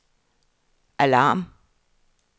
alarm